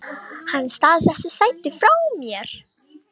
Hann stal þessu sæti frá mér!